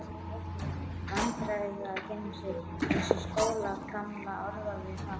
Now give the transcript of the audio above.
Vandræðagemsi, eins og Sóla gamla orðaði það.